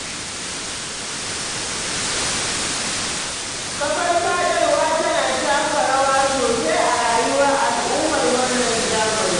Kafar sadarwa tana taka rawa sosai a rayuwar al'ummar wannan zamani.